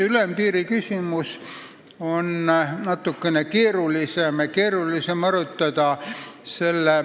Ülempiiri küsimust on natuke keerulisem arutada.